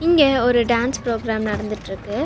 இங்க ஒரு dance program நடந்துட்ருக்கு.